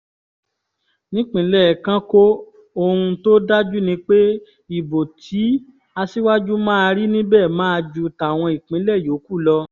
nípínlẹ̀ kánkó ohun tó dájú ni pé ìbò tí aṣíwájú máa rí níbẹ̀ máa ju tàwọn ìpínlẹ̀ yòókù lọ